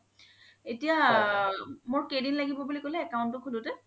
এতিয়া মোৰ কেইদিন লাগিব বুলি ক্'লে account তো খুলোতে